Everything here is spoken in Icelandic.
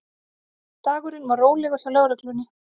Dagurinn var rólegur hjá lögreglunni